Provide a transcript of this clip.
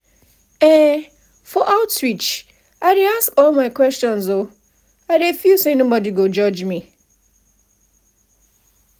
um if i go outreach um i dey ask all my health questions i no dey fear um anybody.